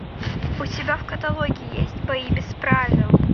у тебя в каталоге есть бои без правил